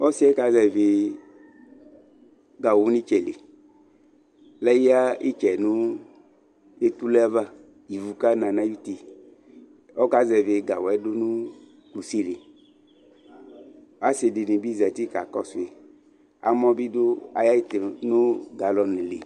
Ɔsìɛƴɛ kazɛvì gawʋ nʋ ìtsɛ li lɛle yǝ ìtsɛ nʋ etuleava ,ivʋ ƙana nʋ aƴʋutiƆka zɛvì gawʋyɛ dkʋnʋ kusiliAsìɖìnìbì zati ƙaƙɔsʋì, amɔ bìɖʋ aƴɛtʋ nʋ galɔn li